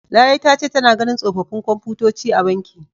Larai ta ce tana ganin tsofaffin komfutoci a banki.